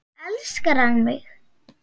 Elskar hann mig?